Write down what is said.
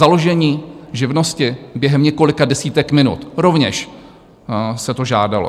Založení živnosti během několika desítek minut, rovněž se to žádalo.